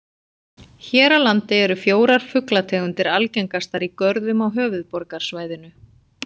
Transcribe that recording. Hér á landi eru fjórar fuglategundir algengastar í görðum á höfuðborgarsvæðinu.